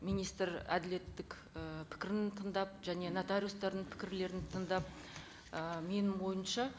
министр әділеттік і пікірін тыңдап және нотариустардың пікірлерін тыңдап ы менің ойымша